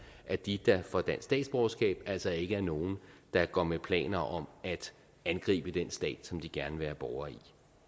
at de der får dansk statsborgerskab altså ikke er nogen der går med planer om at angribe den stat som de gerne vil være borger i